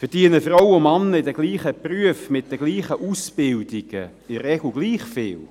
Verdienen Frauen und Männer in denselben Berufen mit denselben Ausbildungen in der Regel gleich viel?